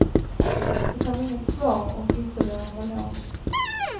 Det kom inget svar, och ytterdörren var låst.